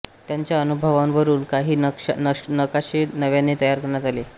त्यांच्या अनुभवांवरून काही नकाशे नव्याने तयार करण्यात आले